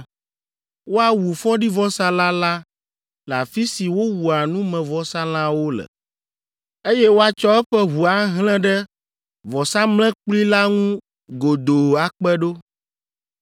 “Woawu fɔɖivɔsalã la le afi si wowua numevɔsalãwo le, eye woatsɔ eƒe ʋu ahlẽ ɖe vɔsamlekpui la ŋu godoo akpe ɖo.